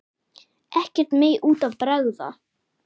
Ekkert megi út af bregða.